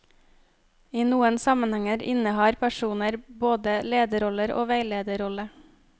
I noen sammenhenger innehar personer både lederrolle og veilederrolle.